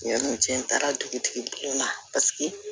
Yani cɛ taara dugutigi bulon na paseke